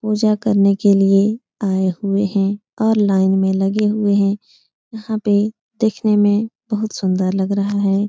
पूजा करने के लिए आए हुए हैं और लाइन में लगे हुए हैं। यहाँ पे देखने में बहुत सुंदर लग रहा है।